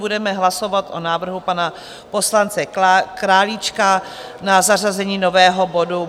Budeme hlasovat o návrhu pana poslance Králíčka na zařazení nového bodu